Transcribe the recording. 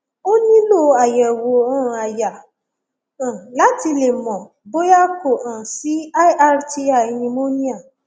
o nílò àyẹwò um àyà um láti le mọ bóyá kò um sí lrti pneumonia